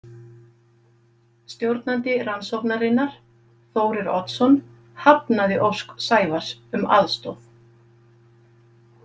Stjórnandi rannsóknarinnar, Þórir Oddsson, hafnaði ósk Sævars um aðstoð.